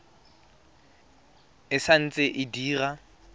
e sa ntse e dira